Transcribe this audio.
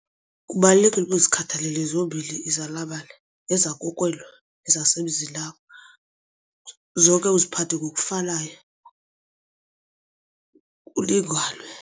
Kubalulekile ukuba uzikhathalele zombini izalamane eza kokuwela nezasemzinakho, zonke uziphathe ngokufanayo kulinganwe.